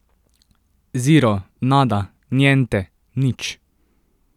Zero, nada, niente, nič.